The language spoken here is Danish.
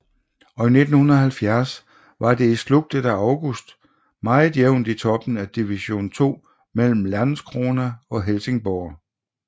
Og i 1970 var det i sludtet af August meget jævnt i toppen af Division 2 mellem Landskrona og Helsingborg